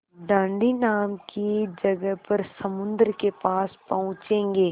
दाँडी नाम की जगह पर समुद्र के पास पहुँचेंगे